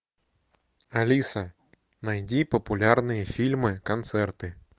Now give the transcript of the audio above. алиса найди популярные фильмы концерты